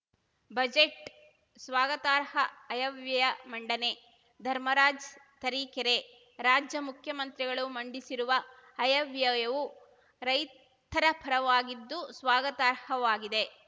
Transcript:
budget ಸ್ವಾಗತಾರ್ಹ ಆಯವ್ಯಯ ಮಂಡನೆ ಧರ್ಮರಾಜ್‌ ತರೀಕೆರೆ ರಾಜ್ಯ ಮುಖ್ಯಮಂತ್ರಿಗಳು ಮಂಡಿಸಿರುವ ಆಯವ್ಯಯವು ರೈತಪರವಾಗಿದ್ದು ಸ್ವಾಗತಾರ್ಹವಾಗಿದೆ